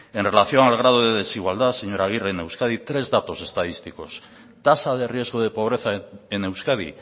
en relación al grado de desigualdad señora agirre en euskadi tres datos estadísticos tasa de riesgo de pobreza en euskadi